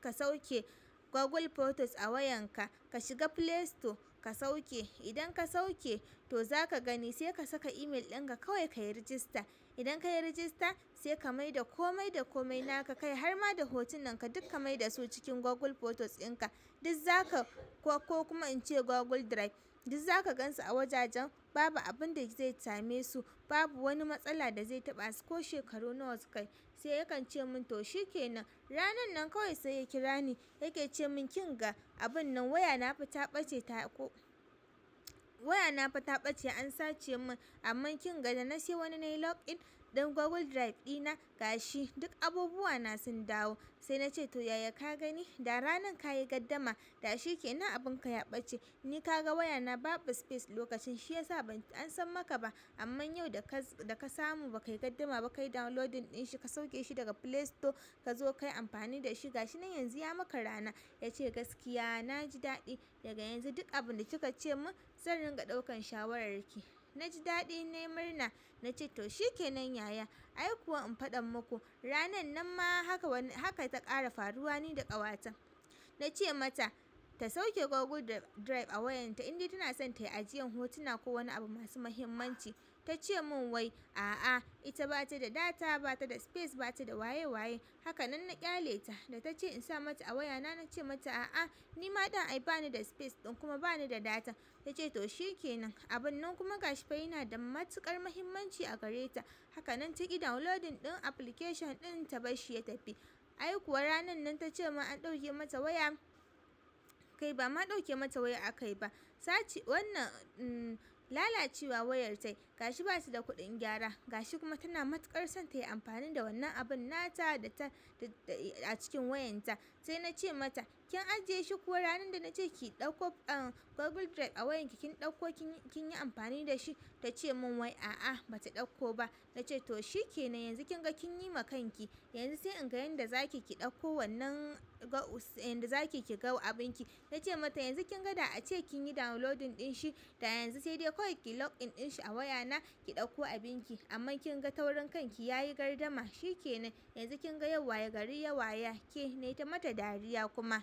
ka sauke Google Photos a wayanka. Ka shiga Playstore ka sauke. Idan ka sauke to zaka gani sai ka saka email ɗin ka kawai kayi register. Idan kayi register sai ka maida komai da komai naka kai har ma da hotunan ka duk ka maida su cikin Google Photos in ka. Duk za ka ko kuma in ce Google Drive duk za ka gan su a wajajen. Babu abun da zai same su babu wani matsala da zai taɓa su ko shekaru nawa su kai." Sai yakan ce min to shikenan. Ranar nan kawai sai ya kira ni yake ce min kin ga abun nan wayana fa ta ɓace ta ko wayana ta ɓace an sace mun. Amma kin ga da na sayi wani nayi login ɗin Google Drive ɗina ga shi duk abubuwana sun dawo. Sai na ce to yaya ka gani da ranar ka yi gaddama da shi kenan abunka ya ɓace ni ka ga wayana babu space lokacin shi ya sa ban ansan maka ba. Amma yau da ka samu ba ka yi gardama ba kayi downloading ɗin shi ka sauke shi daga Playstore ka zo ka yi amfani da shi ga shi nan yanzu ya maka rana. Ya ce gaskiya na ji daɗi daga yanzu duk abun da kika ce mun zan ringa ɗaukan shawararki. Na ji daɗi na yi murna na ce to shikenan yaya. Ai kuwa in faɗa muku ranan nan ma haka ta ƙara faruwa ni da ƙawata. Na ce mata ta sauke goggle drive a wayanta indai tana so ta yi ajiyan hotuna ko wani abu masu mahimmanci, ta ce mun wai. A'a ita bata da data, bata da space, bata da waye waye. Haka nan na ƙyale ta da ta ce in sa mata a wayana na ce mata a'a ni ma ɗin ai bani da space ɗin kuma bani da data. Ta ce to shikenan. Abun nan kuma gashi fa yana da matuƙar muhimmanci a gare ta. Haka nan ta yi downloading ɗin application ɗin ta bashi ya tafi. Ai kuwa ranan nan ta ce mun an ɗauke mata waya kai ba ma ɗauke mata waya a kai ba. Sace wannan lalacewa wayar ta yi ga shi basu da kuɗin gyara ga shi kuma tana matuƙar son ta yi amfani da wannan abun nata da ta a cikin wayan ta. Sai na ce mata kin ajiye shi kuwa ranan da na ce ki ɗauko Google Drive a wayanki kin ɗauko kin yi amfani da shi? Ta ce mun wai a'a bata ɗauko ba. Na ce to shikenan yanzu kin ga kin yi ma kanki. Yanzu sai in ga yanda zaki ki ɗauko wannan yanda zaki ki ga abin ki. Nace mata yanzu kin ga da ace kin yi downloading ɗin shi da yanzu sai dai koyi ki login in shi a wayana ki ɗauko abin ki. Amma kin ga taurin kanki yayi gardama shikenan. Yanzu kin ga yau waye gari ya waye ke. Nai ta mata dariya kuma.